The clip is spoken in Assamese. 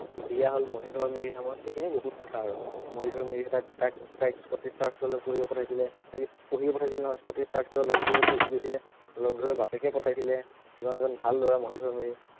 বিয়া হল মহিধৰ মিৰি নামৰ সেইখিনি বহুত কথা আৰু মহিধৰ মিৰিয়ে তাইক তাইক তাইক Scottish Church college লৈ পঢ়িব পঠাইছিলে অ কি পঢ়িব পঠাইছিলে নহয় Scottish Church college ত লগ ধৰিব গৈছিলে লগ ধৰিবলে বাপেকেই পঠাইছিলে ইমান এজন ভাল লৰা মহিধৰ মিৰি